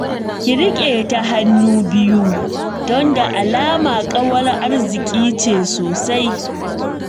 Ki riƙe ta hannu biyu don da alama ƙawar arziƙi ce sosai